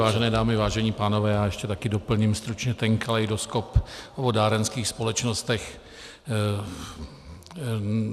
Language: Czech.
Vážené dámy, vážení pánové, já ještě také doplním stručně ten kaleidoskop o vodárenských společnostech.